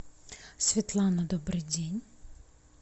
светлана добрый день